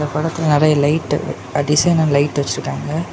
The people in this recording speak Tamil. படத்துல நெறைய லைட் அட்டிஷனல் லைட் வச்சிருக்காங்க.